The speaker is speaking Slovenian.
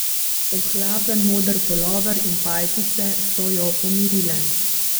Ohlapen moder pulover in pajkice so jo pomirile.